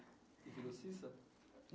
E virou Ceça?